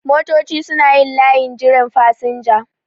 Motoci suna yin layin jiran fasinja